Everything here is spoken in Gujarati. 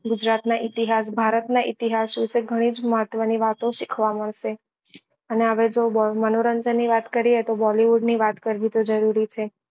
ગુજરાત ના ઈતિહાસ ભારત ના ઈતિહાસ વિશે ગની જ મહત્વ નીં વાતો શીખવા મળશે અને જો મનોરંજન ની વાત કરીએ તો bollywood ની વાત કરવી તો જરૂરી છે